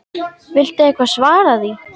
Viltu eitthvað svara því?